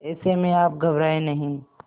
ऐसे में आप घबराएं नहीं